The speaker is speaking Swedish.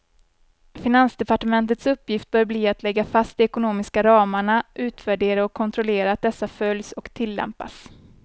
Finansdepartementets uppgift bör bli att lägga fast de ekonomiska ramarna, utvärdera och kontrollera att dessa följs och tillämpas.